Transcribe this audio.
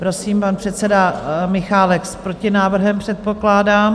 Prosím, pan předseda Michálek s protinávrhem, předpokládám.